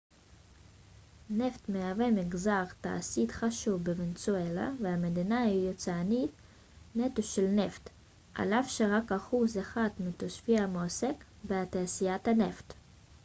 נפט מהווה מגזר תעשייתי חשוב בוונצואלה והמדינה היא יצואנית נטו של נפט על אף שרק אחוז אחד מתושביה מועסק בתעשיית הנפט